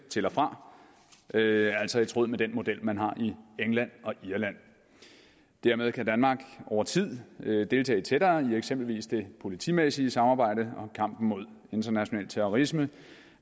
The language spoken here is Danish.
til og fra det er altså i tråd med den model man har i england og irland dermed kan danmark over tid deltage tættere i eksempelvis det politimæssige samarbejde og kampen mod international terrorisme